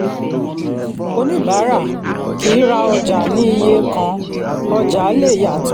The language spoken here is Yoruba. oníbàárà kì í ra ọjà ní iye kan ọjà lè yàtọ̀.